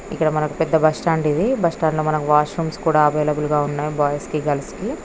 ఇక్కడ మనకి పెద్ద బస్సు స్టాండ్ బస్సు స్టాండ్ లో వాష్రూమ్స్ అవైలబ్లె గ ఉంటాయి బాయ్స్ కి గర్ల్స్ కి --